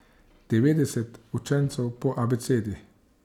Devetdeset učencev po abecedi.